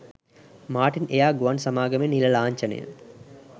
Martin Air ගුවන් සමාගමේ නිල ලාංඡනය